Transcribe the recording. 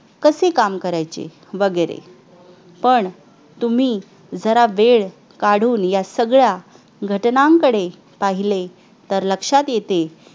कसे काम करायचे वगैरे पण तुम्ही जरा वेळ काढून या सगळ्या घटनांकडे पाहिले तर लक्षात येते